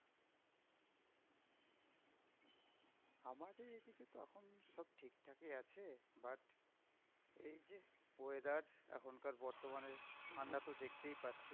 ঠিকঠাকই আছে but এই যে, weather এখনকার বর্তমানে ঠান্ডা তো দেখতেই পাচ্ছিস?